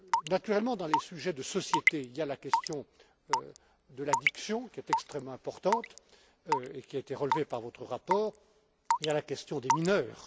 Naturellement, dans les sujets de société, il y a la question de l'addiction qui est extrêmement importante et qui a été relevée par votre rapport et il y a la question des mineurs.